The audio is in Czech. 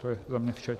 To je za mě vše.